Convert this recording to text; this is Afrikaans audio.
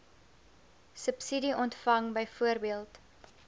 subsidie ontvang byvoorbeeld